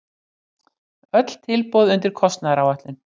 Öll tilboð undir kostnaðaráætlun